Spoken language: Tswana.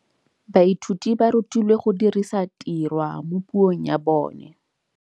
Baithuti ba rutilwe go dirisa tirwa mo puong ya bone.